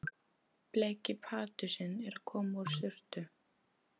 Bleiki Pardusinn að koma úr sturtu!